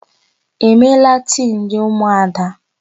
E meela tii ndị ụmụada?